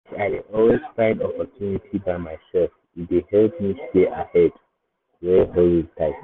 as i dey always find opportunity by myself e dey help me stay ahead where hustle tight.